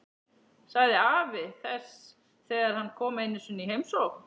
sagði afi þess þegar hann kom einu sinni í heimsókn.